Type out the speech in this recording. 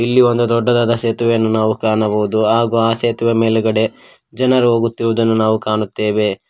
ಇಲ್ಲಿ ಒಂದು ದೊಡ್ಡದಾದ ಸೇತುವೆನ್ನು ಕಾಣಬೌದು ಆಗು ಆ ಸೇತುವೆ ಮೇಲುಗಡೆ ಜನರು ಹೋಗುತ್ತಿರುವುದನ್ನು ನಾವು ಕಾಣುತ್ತೆವೆ.